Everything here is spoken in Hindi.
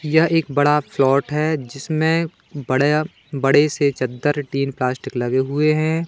यह एक बड़ा प्लॉट है जिसमें बड़े या बड़े से चद्दर टीन प्लास्टिक लगे हुए हैं।